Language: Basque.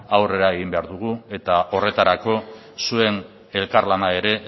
aurrera egin behar dugu eta horretarako zuen elkarlana ere